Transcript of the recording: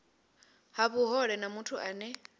ha vhuhole na muthu ane